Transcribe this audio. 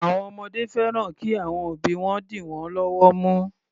Àwọn ọmọdé fẹ́ran kí àwọn òbí wọn dì wọ́n lọ́wọ́ mú.